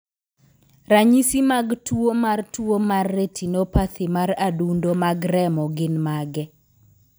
Ranyisi mag tuwo mar tuwo mar retinopathy mar adundo mag remo gin mage?